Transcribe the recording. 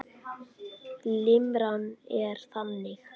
Limran er þannig